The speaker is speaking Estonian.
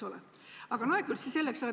Nojah, see selleks.